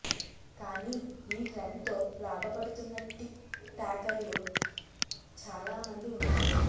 కానీ ఈ ట్రెండ్తో లాభపడుతున్న టిక్ టాకర్లు చాలా మంది ఉన్నారు